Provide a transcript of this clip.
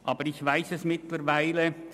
Aber ich weiss es mittlerweile.